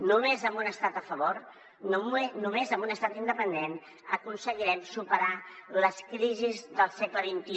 només amb un estat a favor només amb un estat independent aconseguirem superar les crisis del segle xxi